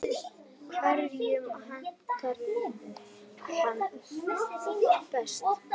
Hverjum hentar hún best?